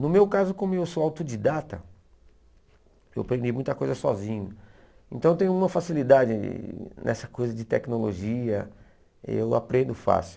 No meu caso, como eu sou autodidata, eu aprendi muita coisa sozinho, então tem uma facilidade nessa coisa de tecnologia, eu aprendo fácil.